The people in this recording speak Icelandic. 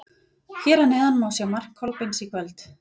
Hér að neðan má sjá mark Kolbeins í kvöld.